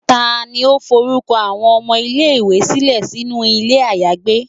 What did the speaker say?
tani o forukọ awọn ọmọ ile-iwe silẹ sinu ilé ayagbé?